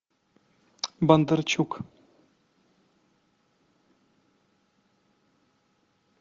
бондарчук